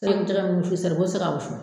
Ne be jɛgɛ min wusu saribɔn te se ka wusu